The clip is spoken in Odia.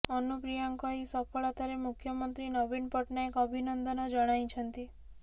ଅନୁପ୍ରିୟାଙ୍କ ଏହି ସଫଳତାରେ ମୂଖ୍ୟମନ୍ତ୍ରୀ ନବୀନ ପଟ୍ଟନାୟକ ଅଭିନନ୍ଦନ ଜଣାଇଛନ୍ତି